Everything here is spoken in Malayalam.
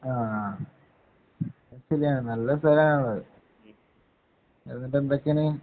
ആ ശരിയാണ്. നല്ല സ്ഥലമാണത്. ഇന്നിപ്പം എന്താ ചെയ്യണേ.